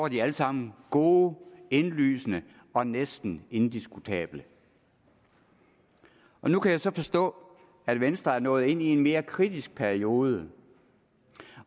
de alle sammen gode indlysende og næsten indiskutable nu kan jeg så forstå at venstre er nået ind i en mere kritisk periode